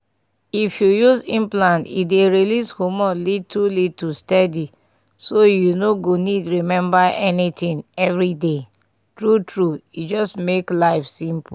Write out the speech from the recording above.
if you use implant e dey release hormone little little steady so you no go need remember anything every day. true true e just make life simple.